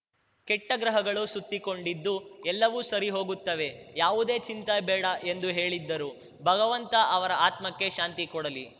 ಕೆಟ್ಟಗ್ರಹಗಳು ಸುತ್ತಿಕೊಂಡಿದ್ದು ಎಲ್ಲವೂ ಸರಿಹೋಗುತ್ತವೆ ಯಾವುದೇ ಚಿಂತೆ ಬೇಡ ಎಂದು ಹೇಳಿದ್ದರು ಭಗವಂತ ಅವರ ಆತ್ಮಕ್ಕೆ ಶಾಂತಿ ಕೊಡಲಿ